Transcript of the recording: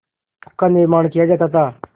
का निर्माण किया जाता था